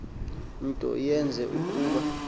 nto yenze ukuba